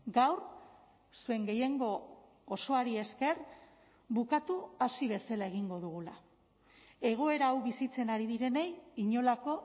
gaur zuen gehiengo osoari esker bukatu hasi bezala egingo dugula egoera hau bizitzen ari direnei inolako